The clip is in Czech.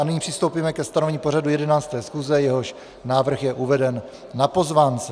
A nyní přistoupíme ke stanovení pořadu 11. schůze, jehož návrh je uveden na pozvánce.